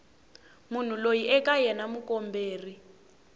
munhu loyi eka yena mukomberi